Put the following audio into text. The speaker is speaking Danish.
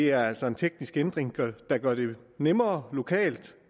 er altså en teknisk ændring der gør det nemmere lokalt